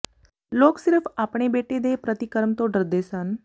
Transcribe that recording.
ਲੋਕ ਸਿਰਫ਼ ਆਪਣੇ ਬੇਟੇ ਦੇ ਪ੍ਰਤੀਕਰਮ ਤੋਂ ਡਰਦੇ ਸਨ